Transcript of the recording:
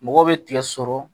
Mɔgɔ bɛ tigɛ sɔrɔ